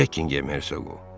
Bekkinqem hersoqu.